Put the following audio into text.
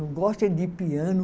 Eu gosto é de piano.